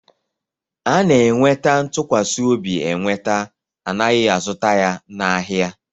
A na-enweta ntụkwasị obi enweta, anaghị azụta ya n'ahia